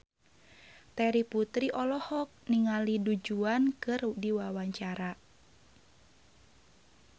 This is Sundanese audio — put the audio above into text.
Terry Putri olohok ningali Du Juan keur diwawancara